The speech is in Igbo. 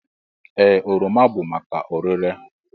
Ee, oroma bụ maka ọrere.